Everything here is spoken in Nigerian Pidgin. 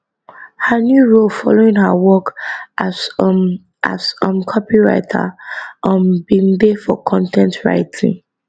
her new role following her work as um as um copywriter um bin dey for con ten t writing